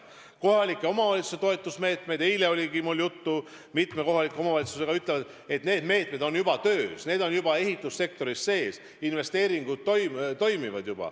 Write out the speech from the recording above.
Kohalike omavalitsuste toetusmeetmed – eilegi rääkisin mitme kohaliku omavalitsusega – on juba töös, ehitussektoris on juba töös, investeeringud toimivad.